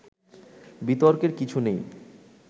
বিতর্কের কিছু নেই